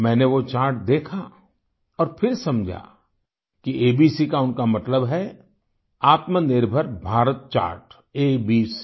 मैंने वो चार्ट देखा और फिर समझा कि ABCका उनका मतलब है आत्मनिर्भरभारत चार्ट एबीसी